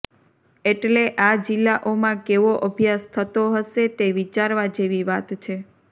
એટલે આ જિલ્લાઓમાં કેવો અભ્યાસ થતો હશે તે વિચારવા જેવી વાત છે